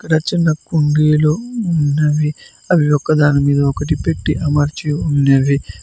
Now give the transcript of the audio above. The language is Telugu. చిన్న చిన్న కుండీలు ఉన్నవి అవి ఒకదానిమీద ఒకటి పెట్టి అమర్చి ఉన్నవి.